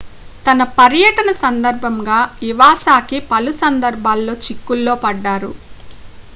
తన పర్యటన సందర్భంగా ఇవాసాకి పలు సందర్భాల్లో చిక్కుల్లో పడ్డారు